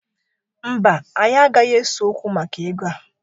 Mba, anyị agaghị ese okwu maka ego a.